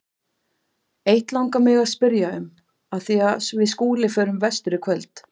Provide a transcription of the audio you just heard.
Eitt langar mig að spyrja um, af því við Skúli förum vestur í kvöld.